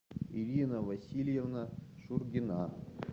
ирина васильевна шургина